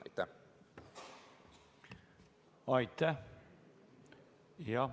Aitäh!